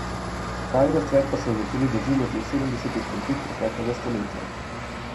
Pravi razcvet pa so začeli doživljati v sedemdesetih letih preteklega stoletja.